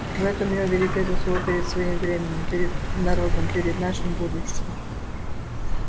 в этом его великая заслуга перед своим временем перед народом перед нашим будущим